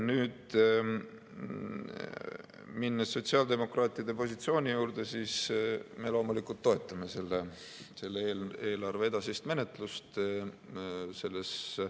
Nüüd, minnes sotsiaaldemokraatide positsiooni juurde, siis me loomulikult toetame selle eelarve edasist menetlust.